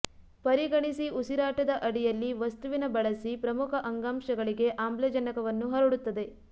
ಪರಿಗಣಿಸಿ ಉಸಿರಾಟದ ಅಡಿಯಲ್ಲಿ ವಸ್ತುವಿನ ಬಳಸಿ ಪ್ರಮುಖ ಅಂಗಾಂಶಗಳಿಗೆ ಆಮ್ಲಜನಕವನ್ನು ಹರಡುತ್ತದೆ